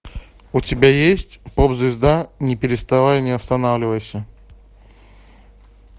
у тебя есть поп звезда не переставай не останавливайся